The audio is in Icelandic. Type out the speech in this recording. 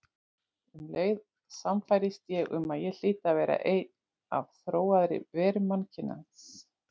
Um leið sannfærðist ég um að ég hlyti að vera ein af þróaðri verum mannkyns.